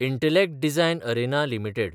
Intellect Design Arena limited